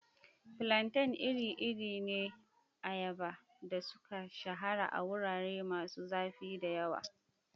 Plantains iri-iri ne na ayaba da suka shahara a wurare masu zafi da yawa.